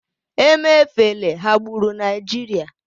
emefele ghagburu nigerian